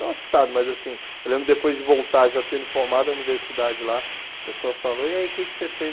Não assustado, mas assim, eu lembro depois de voltar, já tendo formado a universidade lá, a pessoa falou, e aí, o que você fez?